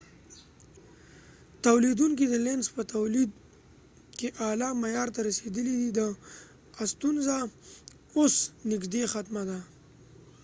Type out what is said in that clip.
دلینزlenz تولیدونکې د لینز په تولید کې اعلی معیار ته رسیدلی دي د ا ستونزه اوس نږدې ختمه ده